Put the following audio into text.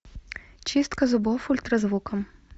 чистка зубов ультразвуком